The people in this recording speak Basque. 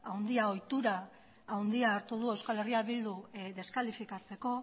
handia ohitura handia hartu du euskal herria bildu deskalifikatzeko